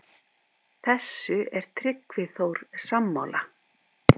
Þessu er Tryggvi Þór sammála.